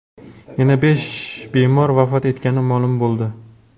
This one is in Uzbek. Yana besh bemor vafot etgani ma’lum bo‘ldi.